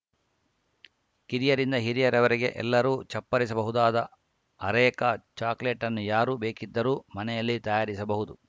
ಕಿರಿಯರಿಂದ ಹಿರಿಯವರೆಗೆ ಎಲ್ಲರೂ ಚಪ್ಪರಿಸಬಹುದಾದ ಅರೇಕಾ ಚಾಕಲೇಟ್‌ನ್ನು ಯಾರು ಬೇಕಿದ್ದರೂ ಮನೆಯಲ್ಲೇ ತಯಾರಿಸಬಹುದು